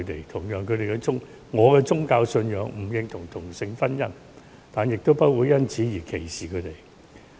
同樣，我的宗教信仰不認同同性婚姻，但亦不會因而歧視同性戀者。